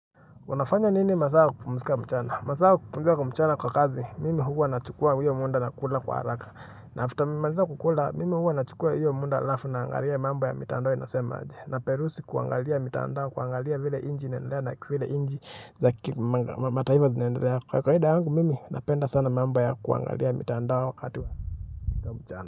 Unafanya nini masaa ya kupumzika mchana? Masaa ya kupumuzika mchana kwa kazi, mimi huwa nachukua hiyo muda na kula kwa haraka. Na after nimemaliza kukula, mimi huwa nachukua hiyo muda alafu naangalia mambo ya mitandao inasema aje. Na perusi kuangalia mitandao, kuangalia vile inchi inaendelea na vile inchi zakimataifa zinaendelea. Kawaida yangu, mimi napenda sana mambo ya kuangalia mitandao wakati wa mchana.